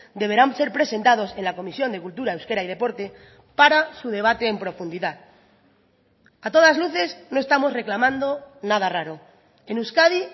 deberán ser presentados en la comisión de cultura euskera y deporte para su debate en profundidad a todas luces no estamos reclamando nada raro en euskadi